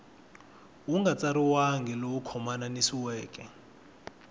wu nga tsariwangi lowu khomanisiweke